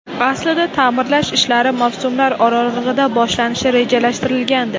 Aslida ta’mirlash ishlari mavsumlar oralig‘ida boshlanishi rejalashtirilgandi.